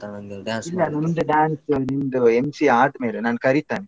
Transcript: ನಂಗದು dance ಮಾಡುದು. ಇಲ್ಲ ನಿಂದು dance ನಿಂದು MC ಆದ್ಮೇಲೆ ನಾನ್ ಕರೀತಾನೆ